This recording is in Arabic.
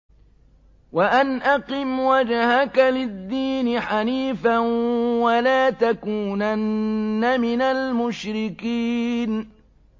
وَأَنْ أَقِمْ وَجْهَكَ لِلدِّينِ حَنِيفًا وَلَا تَكُونَنَّ مِنَ الْمُشْرِكِينَ